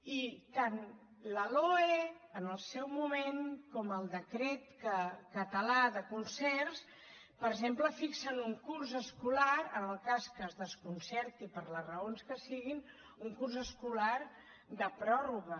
i tant la loe en el seu moment com el decret català de concerts per exemple fixen un curs escolar en el cas que es desconcerti per les raons que siguin de pròrroga